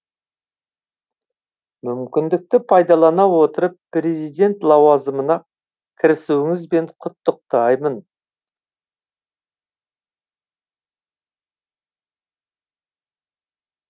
мүмкіндікті пайдалана отырып президент лауазымына кірісуіңізбен құттықтаймын